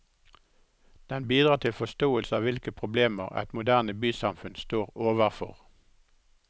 Den bidrar til forståelse av hvilke problemer et moderne bysamfunn står overfor.